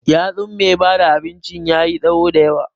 yatsun mai bada abinci yayi tsawo da yawa.